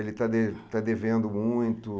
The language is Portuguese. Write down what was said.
Ele está de está devendo muito?